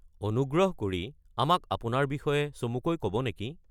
অনুগ্ৰহ কৰি আমাক আপোনাৰ বিষয়ে চমুকৈ ক’ব নেকি?